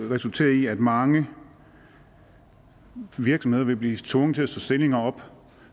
resultere i at mange virksomheder vil blive tvunget til at slå stillinger op